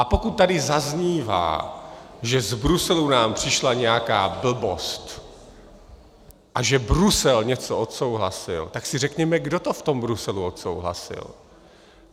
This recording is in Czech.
A pokud tady zaznívá, že z Bruselu nám přišla nějaká blbost a že Brusel něco odsouhlasil, tak si řekněme, kdo to v tom Bruselu odsouhlasil.